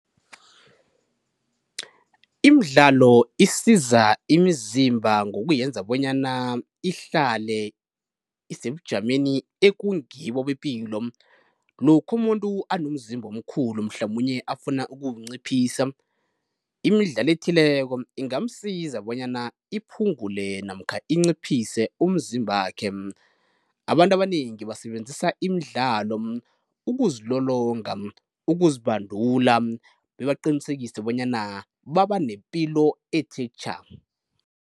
Imidlalo isiza imizimba ngokuyenza bonyana ihlale isebujameni ekungibo bepilo. Lokha umuntu anomzimba omkhulu mhlamunye afuna ukuwunciphisa, imidlalo ethileko ingamsiza bonyana iphungule namkha inciphise umzimbakhe. Abantu abanengi basebenzisa imidlalo ukuzilolonga, ukuzibandula bebaqinisekise bonyana baba nepilo ethe tjha.